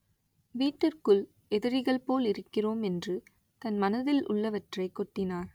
வீட்டிற்குள் எதிரிகள் போல் இருக்கிறோம்” என்று தன் மனதில் உள்ளவற்றைக் கொட்டினார்